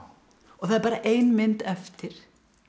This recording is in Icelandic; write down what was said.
það er bara ein mynd eftir